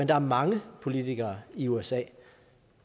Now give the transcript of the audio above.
der er mange politikere i usa